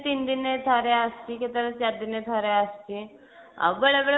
ତିନି ଦିନେ ଥରେ ଆସୁଛି କେତେବେଳେ ଚାରିଦିନେ ଥରେ ଆସୁଛି ଆଉ ବେଳେବେଳେ